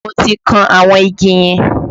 Mo ti kan àwọn igi yẹn